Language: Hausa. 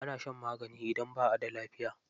Ana shan magani idan ba'a da lafiya.